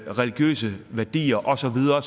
religiøse værdier og så videre